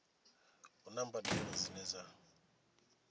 hu na mbadelo dzine dza